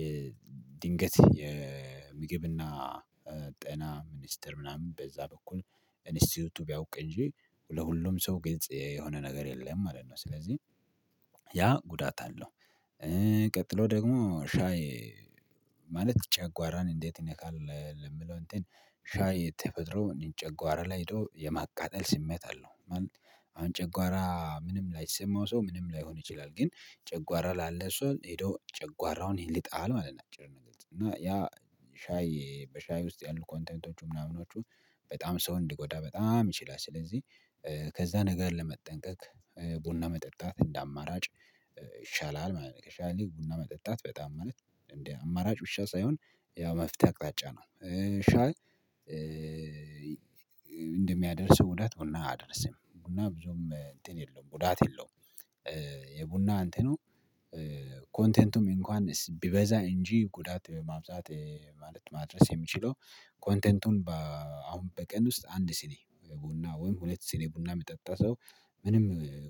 የድንገት የምግብና ጤና ሚኒስተር ምናምን በዛ በኩል ኢንስቲዩቱ ቢያውቅ እንጂ ለሁሉም ሰው ግልጽ የሆነ ነገር የለም ማለት ነው። ስለዚህ ያ ጉዳት አለው። ደግሞ ሻይ ማለት ጨጓራን እንዴት ይነካል ለሚለው እንትን ሻይ ተፈጥሮ እኔ ጨጓራ ላይ ሄዶ የማቃጠል ስሜት አለው። ማለት አሁን ጨጓራ ምንም ላይሰማው ሰው ምንም ላይሆን ይችላል ግን ጨጓራ ላለው ሰው ሄዶ ጨጓራውን ይልጣል ማለት ነው። እና ያ ሻይ በሻይ ውስጥ ያሉ ኮንተንቶቹ ምናምኖቹ በጣም ሰው እንዲጎዳ በጣም ይችላል ስለዚህ ከዛ ነገር ለመጠንቀቅ ቡና መጠጣት እንደ አማራጭ ይሻላል ማለት ነው። ከሻዪ ይልቅ ቡና መጠጣት በጣም ማለት አማራጭ ብቻ ሳይሆን ያው መፍትሄ አቅጣጫ ነው። ሻይ እንደሚያደርስው ጉዳት ቡና አያደርሰም ቡና ብዙም እንትን የለውም ጉዳት የለውም። የቡና እንትኑ ኮንቴንቱም እንኳን ቢበዛ እንጂ ጉዳት ማብዛት ማለት ማድረስ የሚችለው ኮንተንቱን አሁን በቀን ውስጥ አንድ ሲኒ ቡና ወይም ሁለት ሲኒ ቡና የሚጠጣ ሰው ምንም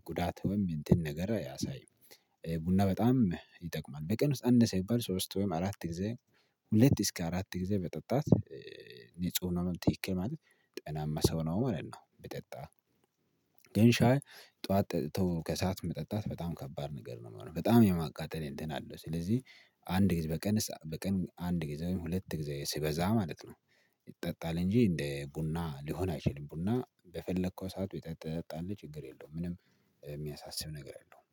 ጉዳት ወይም እንትን ነገር አያሳይም። ቡና በጣም ይጠቅማል በቀን ውስጥ አነሰ ቢባል ሶስት ወይም አራት ጊዜ ሁለት እስከ አራት ጊዜ በጠጣት ንጹህ ነው ምን ትክክል ማለት ጤናማ ሰው ነው ማለት ነው። ቢጠጣ ግን ሻይ ጠዋት ጠጥቶ ከሰአት መጠጣት በጣም ከባድ ነገር ነው የሚሆነው በጣም የማቃጠል እንትን አለው ስለዚህ አንድ ጊዜ በቀን በቀን አንድ ጊዜ ሁለት ጊዜ ሲበዛ ማለት ነው ይጠጣል እንጂ እንደ ቡና ሊሆን አይችልም ቡና በፈለከው ሰዓት ትጠጣለህ ችግር የለውም። ምንም የሚያሳስብ ነገር የለውም